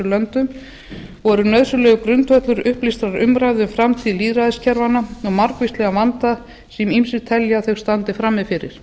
löndum og eru nauðsynlegur grundvöllur upplýstrar umræðu um framtíð lýðræðiskerfanna og margvíslegan vanda sem ýmsir telja að þau standi frammi fyrir